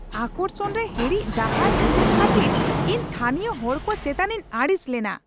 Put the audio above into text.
ᱟᱠᱚᱨᱥᱚᱱ ᱨᱮ ᱦᱤᱲᱤᱡ ᱰᱟᱦᱟᱨ ᱩᱫᱩᱜ ᱠᱷᱟᱹᱛᱤᱨ ᱤᱧ ᱛᱷᱟᱹᱱᱤᱭᱚ ᱦᱚᱲ ᱠᱚ ᱪᱮᱛᱟᱱᱤᱧ ᱟᱹᱲᱤᱥ ᱞᱮᱱᱟ ᱾